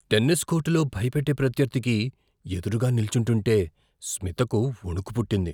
Tennis కోర్టులో భయపెట్టే ప్రత్యర్థికి ఎదురుగా నిల్చుంటుంటే స్మితకు వణుకు పుట్టింది.